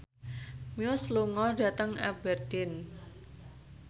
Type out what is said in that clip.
Muse lunga dhateng Aberdeen